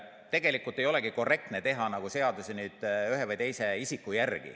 Tegelikult ei olegi korrektne teha seadusi ühe või teise isiku järgi.